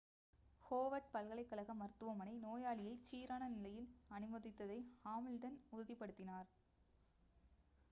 Howard பல்கலைக்கழக மருத்துவமனை நோயாளியைச் சீரான நிலையில் அனுமதித்ததை ஹாமில்டன் உறுதிப்படுத்தினார்